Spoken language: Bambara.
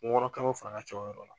Kungo kamiw fana ka ca o yɔrɔ la.